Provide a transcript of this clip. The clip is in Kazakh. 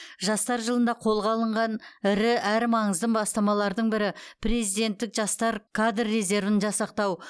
жастар жылында қолға алынған ірі әрі маңызды бастамалардың бірі президенттік жастар кадр резервін жасақтау